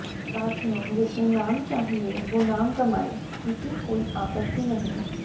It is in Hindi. साथियों जिसे नाम चाहिए वो नाम कमाए किसी कोई आपत्ति नहीं